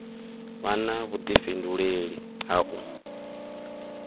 vha na vhuḓifhinduleli ha u